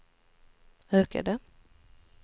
ökade